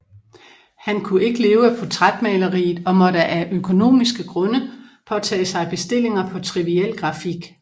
Han kunne ikke leve af portrætmaleriet og måtte af økonomiske grunde påtage sig bestillinger på triviel grafik